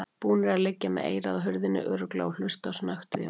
Búnir að liggja með eyrað á hurðinni örugglega og hlusta á snöktið í honum!